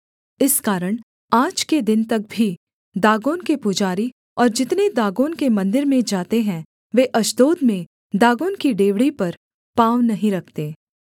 इस कारण आज के दिन तक भी दागोन के पुजारी और जितने दागोन के मन्दिर में जाते हैं वे अश्दोद में दागोन की डेवढ़ी पर पाँव नहीं रखते